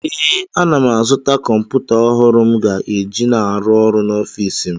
Ee, ana m azụta kọmpụta ọhụrụ m ga-eji na-arụ ọrụ n’ọfịsi m